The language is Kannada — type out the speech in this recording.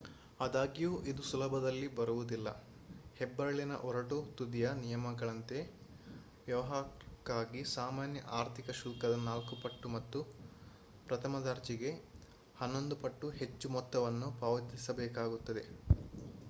ಆದಾಗ್ಯೂ ಇದು ಸುಲಭದಲ್ಲಿ ಬರುವುದಿಲ್ಲ ಹೆಬ್ಬೆರಳಿನ ಒರಟು ತುದಿಯ ನಿಯಮಗಳಂತೆ ವ್ಯವಹಾರಕ್ಕಾಗಿ ಸಾಮಾನ್ಯ ಆರ್ಥಿಕ ಶುಲ್ಕದ ನಾಲ್ಕು ಪಟ್ಟು ಮತ್ತು ಪ್ರಥಮ ದರ್ಜೆಗೆ ಹನ್ನೊಂದು ಪಟ್ಟು ಹೆಚ್ಚು ಮೊತ್ತವನ್ನು ಪಾವತಿಸಬೇಕಾಗುತ್ತದೆ